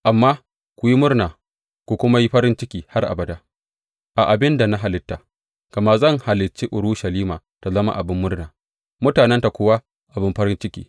Amma ku yi murna ku kuma yi farin ciki har abada a abin da na halitta, gama zan halicci Urushalima ta zama abin murna mutanenta kuwa abin farin ciki.